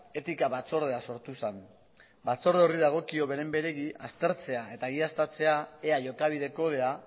etika batzordea sortu zen batzorde horri dagokio beren beregi aztertzea eta egiaztatzea ea jokabide kodea